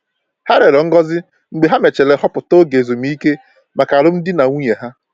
Ha rịọrọ ngozi mgbe ha mechara họpụta oge ezumike maka alụmdi na nwunye ha.